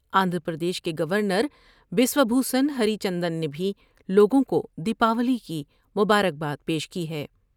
آندھرا پردیش کے گورنر بسوا جون ہری چندن نے بھی لوگوں کو د یپاولی کی مبارکباد پیش کی ہے ۔